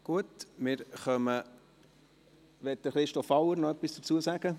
Gut wir kommen ... Möchte Christoph Auer noch etwas dazu sagen?